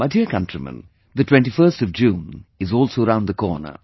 My dear countrymen, 21st June is also round the corner